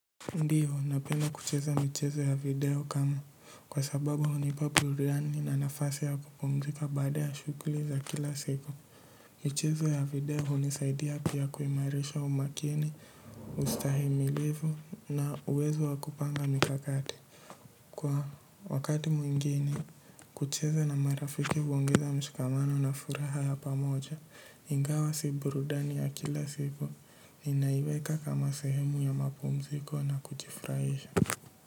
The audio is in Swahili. Ndiyo napenda kucheza michezo ya video kama kwa sababu hunipa burudani na nafasi ya kupumzika baada ya shughli za kila siku. Michezo ya video hunisaidia pia kuimaraisha umakini, ustahimilivu na uwezo wa kupanga mikakati. Kwa wakati mwingeni, kucheza na marafiki huongeza mshikamano na furaha ya pamoja, ingawa si burudani ya kila siku, ninaiweka kama sehemu ya mapumziko na kujifraisha.